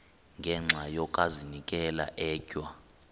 ngenxa yokazinikela etywa